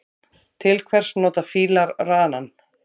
Til hvers nota fílar ranann?